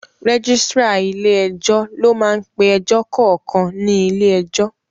Rẹ́gísírà ilé ẹjọ́ ló máá ń pe ẹjọ́ kankan ní ilé ẹjọ́